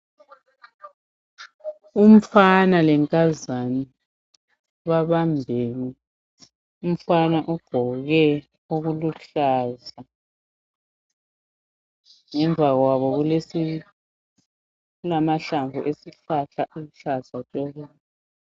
umfana lenkazana babambene umfana ugqoke okuluhlaza ngemva kwabo kulesi kulamahlamvu esihlahla esiluhlaza tshoko